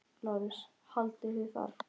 LÁRUS: Haldið þið það?